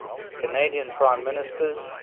canadian prime ministers